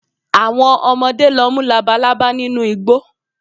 Àwọn ọmọdé lọ mú Labalábá nínú igbó